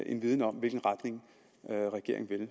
en viden om i hvilken retning regeringen vil